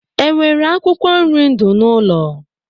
E nwere akwụkwọ nri ndụ n'ụlọ?